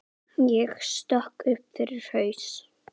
Ég sökk upp fyrir haus.